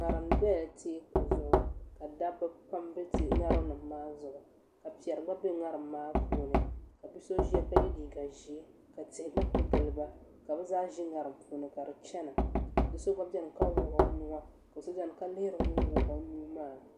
ŋarim biɛla teeku zuɣu ka dabba pam bɛ ŋarim maa zuɣu ka piɛri gba bɛ ŋarim maa puuni bia so ʒiya ka yɛ liiga ʒiɛ ka tihi gba ku giliba ka bi zaa ʒi ŋarim puuni ka di chɛna do so gba biɛni ka wuɣu o nuwa ka so biɛni ka lihiri ŋun wuɣu o nuu maa